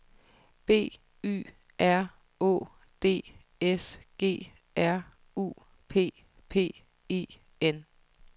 B Y R Å D S G R U P P E N